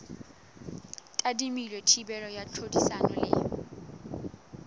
tadimilwe thibelo ya tlhodisano le